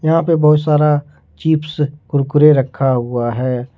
बहुत सारा चिप्स कुरकुरे रखा हुआ है।